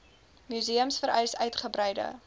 museums vereis uitgebreide